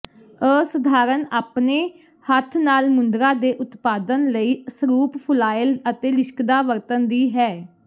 ਅਸਧਾਰਨ ਆਪਣੇ ਹੱਥ ਨਾਲ ਮੁੰਦਰਾ ਦੇ ਉਤਪਾਦਨ ਲਈ ਸਰੂਪ ਫੁਆਇਲ ਅਤੇ ਲਿਸ਼ਕਦਾ ਵਰਤਣ ਦੀ ਹੈ